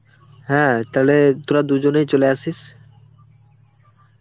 হ্যাঁ তা তোরা দুজনেই চলে আসিস.